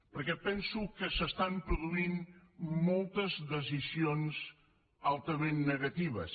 perquè penso que s’estan produint moltes decisions altament negatives